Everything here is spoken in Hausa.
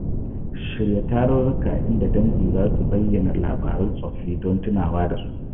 Shirya tarurruka inda dangi za su bayyana labarun tsoffi domin tunawa da su.